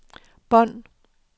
bånd